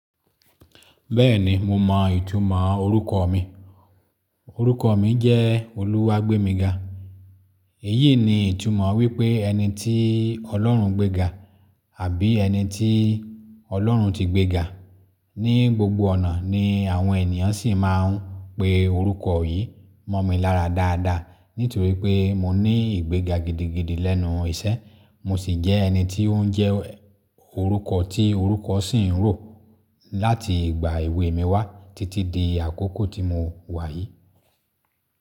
Bẹ́ẹ̀ni mo mọ ìtumọ̀ orúkọ mi. Orúkọ mi jẹ́ Oluwagbemiga. Èyí ni ìtumọ̀ wípé ẹni tí Ọlọ́run gbéga àbí ẹni tí Ọlọ́run ti gbéga. Ni gbogbo ọ̀nà ni àwọn ènìyàn sì máà ń pe orúkọ yìí. Mọ̀ mí lára dáadáa nítorí pé mo ní ìgbéga gidigidi lẹ́nu iṣẹ́, mo sì jẹ́ ẹni tí ó ń jẹ́ orúkọ tí orúkọ sì ń rò láti ìgbà èwe mi wá títí di àkókò tí mo wà yìí.